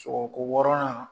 u ko ko hɔrɔnya